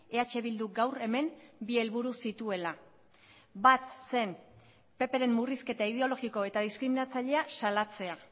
eh bilduk gaur hemen bi helburu zituela bat zen ppren murrizketa ideologiko eta diskriminatzailea salatzea